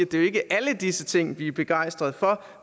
det ikke er alle disse ting vi er begejstret for